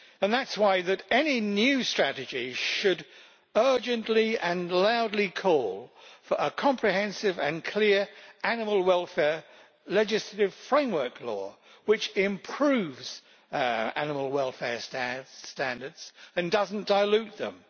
That is why any new strategy should urgently and loudly call for a comprehensive and clear animal welfare legislative framework law which improves animal welfare standards and does not dilute them.